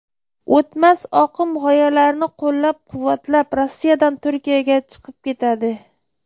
O‘tmas oqim g‘oyalarini qo‘llab-quvvatlab, Rossiyadan Turkiyaga chiqib ketadi.